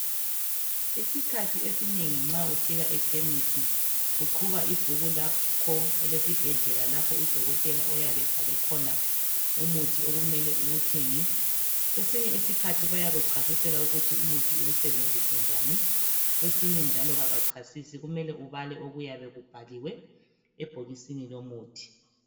Isikhathi esinengi nxa ufika ekhemisi uqhuba ibhuku lakho elesibhedlela lapho udokotela oyabe ebhale khona umuthi okumele uwuthenge kwesinye isikhathi bayakuchasisela ukuthi umuthi uwusebenzise njani kwesinye njalo abachasisi kumele ubale okuyabe kubhaliwe ebhokisini lomuthi.